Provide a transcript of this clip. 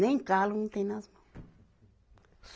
Nem calo não tem nas mão.